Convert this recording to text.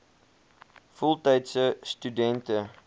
voltydse stu dente